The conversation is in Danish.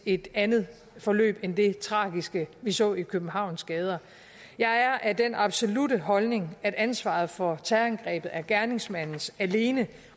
et andet forløb end det tragiske vi så i københavns gader jeg er af den absolutte holdning at ansvaret for terrorangrebet er gerningsmandens alene